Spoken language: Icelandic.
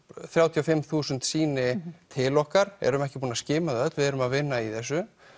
þrjátíu og fimm þúsund sýni til okkar erum ekki búin að skima þau öll því við erum að vinna í þessu